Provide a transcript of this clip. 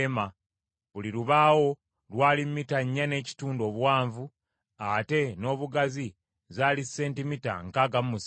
Buli lubaawo lwali mita nnya n’ekitundu obuwanvu, ate ng’obugazi zaali sentimita nkaaga mu musanvu.